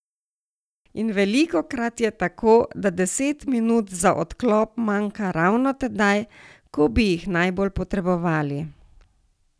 In velikokrat je tako, da deset minut za odklop manjka ravno tedaj, ko bi jih najbolj potrebovali.